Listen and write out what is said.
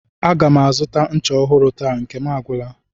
A ga m azụta ncha ọhụrụ taa, nke m agwụla